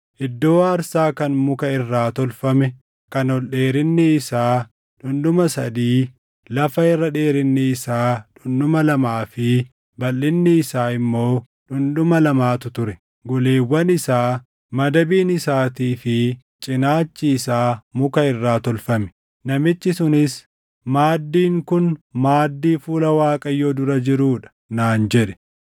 Iddoo aarsaa kan muka irraa tolfame kan ol dheerinni isaa dhundhuma sadii, lafa irra dheerinni isaa dhundhuma lamaa fi balʼinni isaa immoo dhundhuma lamaatu ture; goleewwan isaa, madabiin isaatii fi cinaachi isaa muka irraa tolfame. Namichi sunis, “Maaddiin kun maaddii fuula Waaqayyoo dura jiruu dha” naan jedhe.